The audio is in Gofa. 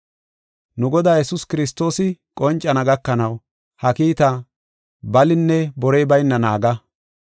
Nu Godaa Yesuus Kiristoosi qoncana gakanaw ha kiitaa balinne borey bayna naaga.